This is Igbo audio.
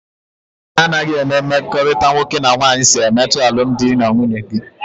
Kedụ ka anaghị enwe mmekọrịta nwoke na nwaanyị si emetụta alụmdi na nwunye gị?